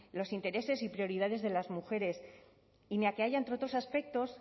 los intereses y prioridades de las mujeres y ni a que haya entre otros aspectos